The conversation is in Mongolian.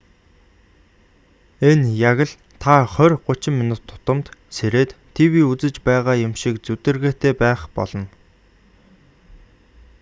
энэ яг л та хорь гучин минут тутамд сэрээд тв үзэж байгаа юм шиг зүдэргээтэй байх болно